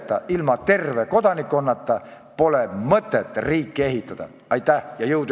Austatud kolleegid Peeter, Toomas ja Märt ning loodetavasti kümned kolleegid ekraanide ees, tänane istung on lõppenud.